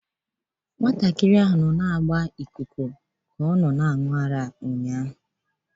Nwata ahụ nọ na-agba ikuku ka ọ na-aṅụ ụnyahụ.